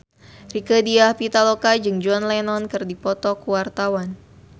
Rieke Diah Pitaloka jeung John Lennon keur dipoto ku wartawan